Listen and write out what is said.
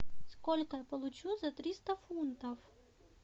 сколько я получу за триста фунтов